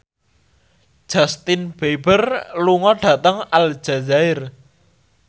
Justin Beiber lunga dhateng Aljazair